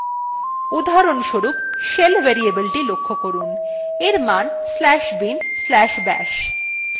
উদাহরণস্বরূপ